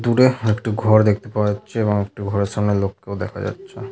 দূরে একটি ঘর দেখতে পাওয়া যাচ্ছে এবং একটি ঘরের সামনে লোক কেও দেখা যাচ্ছে।